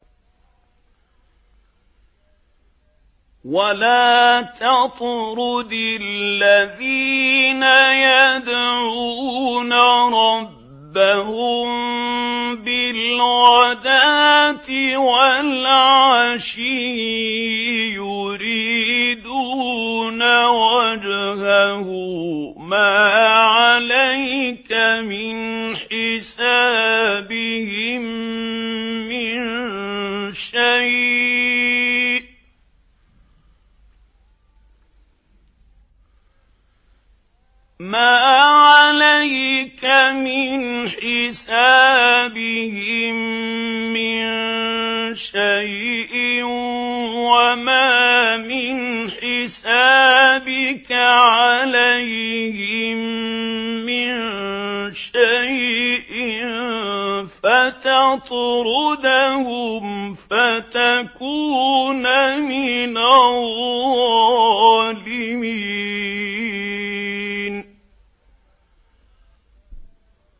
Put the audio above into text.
وَلَا تَطْرُدِ الَّذِينَ يَدْعُونَ رَبَّهُم بِالْغَدَاةِ وَالْعَشِيِّ يُرِيدُونَ وَجْهَهُ ۖ مَا عَلَيْكَ مِنْ حِسَابِهِم مِّن شَيْءٍ وَمَا مِنْ حِسَابِكَ عَلَيْهِم مِّن شَيْءٍ فَتَطْرُدَهُمْ فَتَكُونَ مِنَ الظَّالِمِينَ